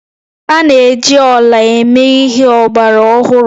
A na-eji ọla eme ihe ọgbara ọhụrụ